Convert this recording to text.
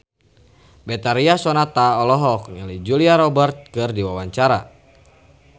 Betharia Sonata olohok ningali Julia Robert keur diwawancara